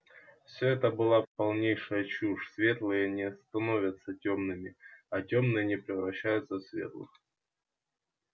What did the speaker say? все это была полнейшая чушь светлые не становятся тёмными а тёмные не превращаются в светлых